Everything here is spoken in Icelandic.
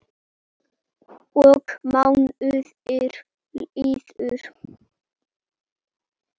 Og mánuðir liðu.